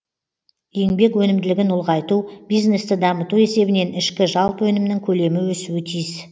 еңбек өнімділігін ұлғайту бизнесті дамыту есебінен ішкі жалпы өнімнің көлемі өсуі тиіс